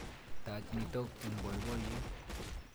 Tach nitok eng' poipoiyet.